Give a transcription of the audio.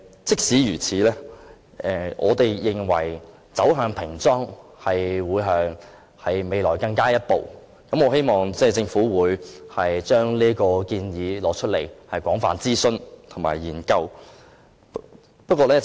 儘管如此，我們認為平裝是未來要走的下一步，我希望政府會就這此作廣泛諮詢及研究。